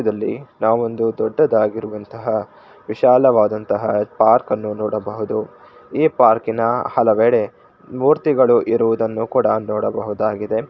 ದೃಶ್ಯದಲ್ಲಿ ನಾವೊಂದು ದೊಡ್ಡದಾಗಿರುವಂತಹ ವಿಶಾಲವಾಗಿರುವಂತಹ ಪಾರ್ಕನ್ನು ನೋಡಬಹುದು ಈ ಪಾರ್ಕಿನ ಹಲವೆಡೆ ಮೂರ್ತಿಗಳು ಇರುವುದನ್ನು ನೋಡಬಹುದಾಗಿದೆ.